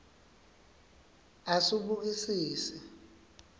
asubukisise